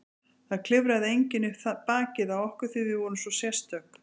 Það klifraði enginn upp bakið á okkur því við vorum svo sérstök.